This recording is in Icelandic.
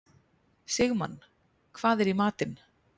Sigmann, hvað er í matinn?